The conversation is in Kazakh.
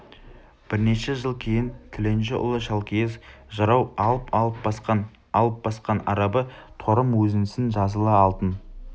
бірнеше жыл кейін тіленші ұлы шалкиіз жырау алп-алп басқан алп басқан арабы торым өзіңсің жазылы алтын